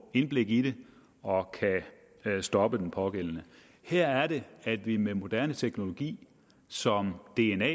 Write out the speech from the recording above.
indblik i det og kan stoppe den pågældende her er det at vi med moderne teknologi som dna